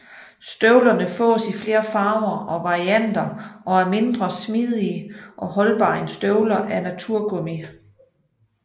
Støvlerne fås i flere farver og varianter og er mindre smidige og holdbare end støvler af naturgummi